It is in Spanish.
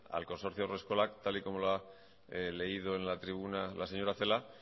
al consorcio haurreskolak tal y como lo ha leído en la tribuna la señora celaá